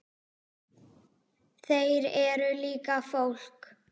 Þeir eru líka fólk.